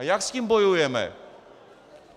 A jak s tím bojujeme?